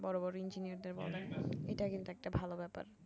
বড় বড় ইঞ্জিনিয়ারদের বলেন এইটা কিন্তু একটা ভালো ব্যাপার